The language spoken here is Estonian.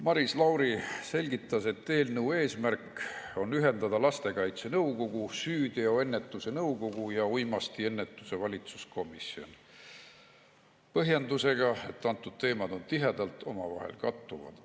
Maris Lauri selgitas, et eelnõu eesmärk on ühendada lastekaitse nõukogu, süüteoennetuse nõukogu ja uimastiennetuse valitsuskomisjon, seda põhjendusega, et teemad on tihedalt omavahel kattuvad.